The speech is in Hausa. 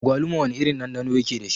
Agwaluma wana irin ɗanɗano yake dashi?